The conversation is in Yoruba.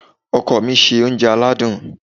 Ọkọ mi se oúnjẹ aládùn.